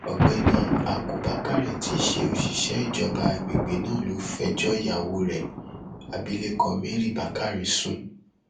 ọgbẹni ákú bakari tí í ṣe òṣìṣẹ ìjọba àgbègbè náà ló lọọ fẹjọ ìyàwó rẹ abilékọ mary bakari sùn